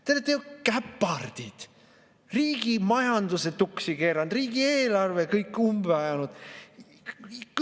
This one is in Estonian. Te olete ju käpardid, riigi majanduse tuksi keeranud, riigieelarve kõik umbe ajanud.